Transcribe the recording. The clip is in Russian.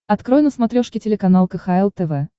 открой на смотрешке телеканал кхл тв